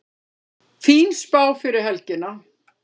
Fín spá fyrir helgina